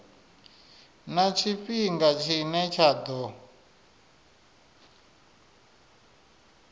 na tshifhinga tshine tsha ḓo